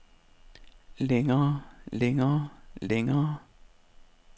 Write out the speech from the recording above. længere længere længere